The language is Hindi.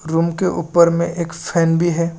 रूम के ऊपर मे एक फैन भी है।